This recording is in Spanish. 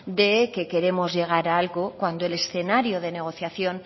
de que queremos llegar a algo cuando el escenario de negociación